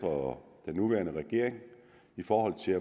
og den nuværende regering i forhold til